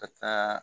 Ka taa